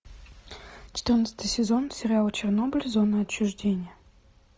четырнадцатый сезон сериала чернобыль зона отчуждения